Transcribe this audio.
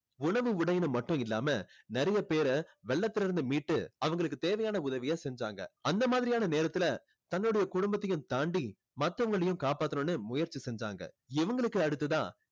உணவு உடைன்னு மட்டும் இல்லாம நிறைய பேரை வெள்ளத்தில இருந்து மீட்டு அவங்களுக்கு தேவையான உதவியை செஞ்சாங்க. அந்த மாதிரியான நேரத்துல தன்னுடைய குடும்பத்தையும் தாண்டி மத்தவங்களையும் காப்பாத்தணும்னு முயற்சி செஞ்சாங்க. இவங்களுக்கு அடுத்ததா